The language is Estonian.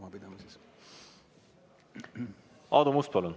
Aadu Must, palun!